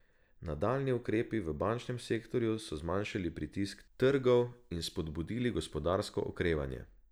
Nadaljnji ukrepi v bančnem sektorju so zmanjšali pritisk trgov in spodbudili gospodarsko okrevanje.